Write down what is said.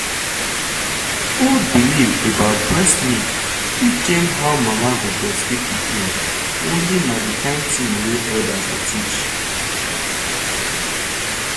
old belief about breast milk fit change how mama go breastfeed pikin only na the kind thing wey elders dey teach.